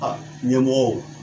Aa cɛmɔgɔw